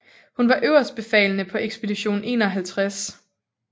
Hun var øverstbefalende på Ekspedition 51